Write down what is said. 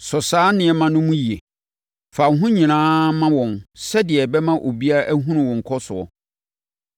Sɔ saa nneɛma no mu yie. Fa wo ho nyinaa ma wɔn sɛdeɛ ɛbɛma obiara ahunu wo nkɔsoɔ.